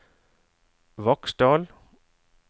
Vaksdal